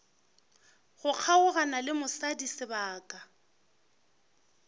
go kgaogana le mosadi sebaka